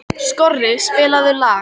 Skorri, spilaðu lag.